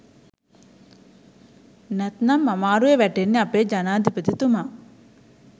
නැත්නම් අමාරුවේ වැටෙන්නේ අපේ ජනාධිපතිතුමා.